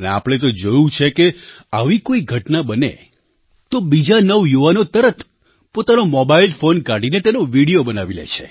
અને આપણે તો જોયું છે કે આવી કોઈ ઘટના બને છે તો બીજા નવયુવાનો તરત પોતાનો મોબાઇલ ફૉન કાઢીને તેનો વિડિયો બનાવી લે છે